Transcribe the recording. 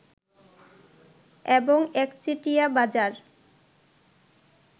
এবং একচেটিয়া বাজার